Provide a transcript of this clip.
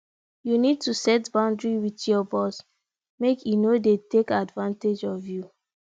you need to set boundary with your boss make e no dey take advantage of you